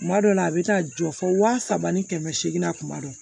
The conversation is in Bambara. Kuma dɔ la a bɛ taa jɔ fo wa saba ni kɛmɛ seegin na kuma dɔw